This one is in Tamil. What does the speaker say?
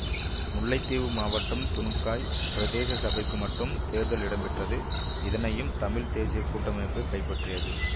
முல்லைத்தீவு மாவட்டம் துணுக்காய் பிரதேச சபைக்கு மட்டும் தேர்தல் இடம்பெற்றது இதனையும் தமிழ் தேசிய கூட்டமைப்பு கைப்பற்றியது